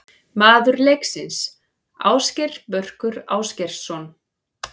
Maður leiksins: Ásgeir Börkur Ásgeirsson.